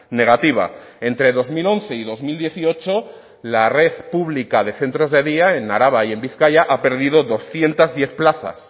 negativa entre dos mil once y dos mil dieciocho la red pública de centros de día en araba y en bizkaia ha perdido doscientos diez plazas